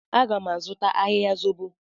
Aga m azụta ahịhịa zobo.